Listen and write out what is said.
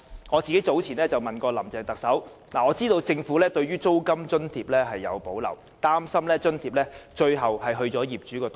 我早前問過特首林鄭月娥，知道政府對租金津貼有所保留，擔心這筆津貼最終會落入業主的口袋。